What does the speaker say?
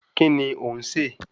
Kíni ò ń sè?